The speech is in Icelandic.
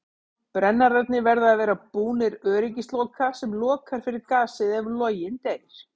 Brennararnir verða að vera búnir öryggisloka sem lokar fyrir gasið ef loginn deyr.